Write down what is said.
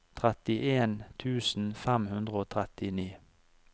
trettien tusen fem hundre og trettini